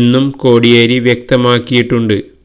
എന്നും കോടിയേരി വ്യക്തമാക്കിയിട്ടുണ്ട്